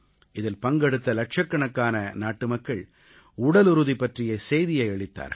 இதில் பங்கெடுத்த இலட்சக்கணக்கான நாட்டுமக்கள் உடலுறுதி பற்றிய செய்தியை அளித்தார்கள்